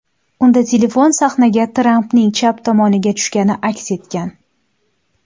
Unda telefon sahnaga Trampning chap tomoniga tushgani aks etgan.